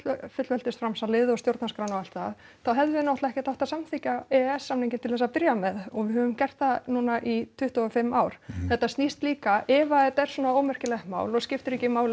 fullveldisframsalið og stjórnarskrána og allt það þá hefðum við náttúrulega ekkert átt að samþykkja e e s samninginn til að byrja með og við höfum gert það núna í tuttugu og fimm ár þetta snýst líka ef að þetta er svona ómerkilegt mál og skiptir ekki máli